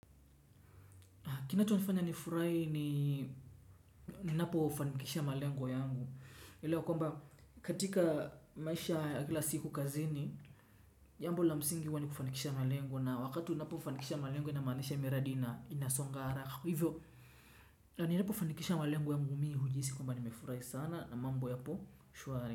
Kinacho nifanya nifurai ni ninapo fanikisha malengo yangu. Elewa kwamba katika maisha ya kila siku kazini, jambo la msingi uwa nikufanikisha malengo na wakati unapo fanikisha malengo ina maanisha miradi ina inasongara. Hivyo, na ninapo fanikisha malengo yangu mii hujisi kwamba ni mefurai sana na mambo yapo, shuari.